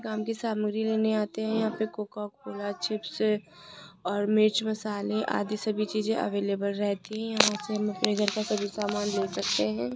काम की सामग्री लेने आते है यहां पर कोका कोला चिप्स और मिर्च मसाले आदि सभी चीज अवेलेबल रहती है यहां से हम अपने घर का सभी सामान ले सकते हैं।